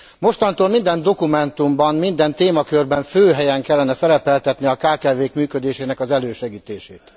Mostantól minden dokumentumban, minden témakörben fő helyen kellene szerepeltetni a kkv k működésének az elősegítését.